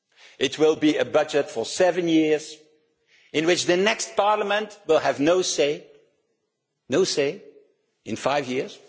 It will be a budget for seven years in which the next Parliament will have no say no say in five years!